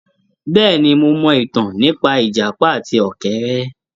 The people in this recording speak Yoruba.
Bẹ́ẹ̀ni, mo mọ ìtàn nípa ìjàpá àti ọ̀kẹ́rẹ́.